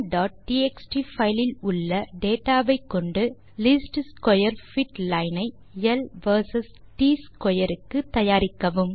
pendulumடிஎக்ஸ்டி file இல் உள்ள data வைக் கொண்டு லீஸ்ட் ஸ்க்வேர் பிட் லைன் ஐ ல் வெர்சஸ் ட் ஸ்க்வேர் க்கு தயாரிக்கவும்